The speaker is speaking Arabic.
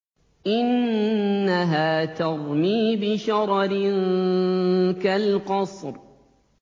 إِنَّهَا تَرْمِي بِشَرَرٍ كَالْقَصْرِ